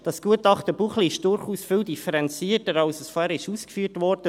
Das Gutachten Buchli ist durchaus viel differenzierter, als vorhin ausgeführt wurde.